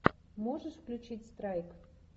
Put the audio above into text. можешь включить страйк